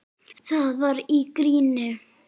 Það var í gríni.